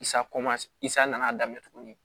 isaa nana daminɛ tuguni